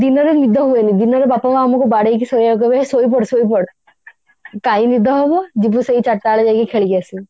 ଦିନରେ ନିଦ ହୁଏନି ଦିନରେ ବାପା ମାଆ ଆମକୁ ବାଡେଇକି ଶୋଇବାକୁ କହିବେ ହେ ଶୋଇପଡ ଶୋଇପଡ କାଇଁ ନିଦ ହବ ଯିବୁ ସେଇ ଚାରିଟା ବେଳେ ଯାଇକି ଖେଳିକି ଆସିବୁ